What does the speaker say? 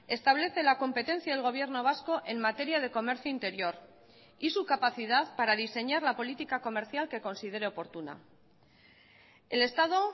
establece la competencia del gobierno vasco en materia de comercio interior y su capacidad para diseñar la política comercial que considere oportuna el estado